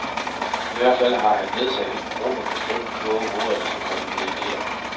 I hvert fald har han nedsat en ny gruppe på fem kloge hoveder, der skal komme med ideer.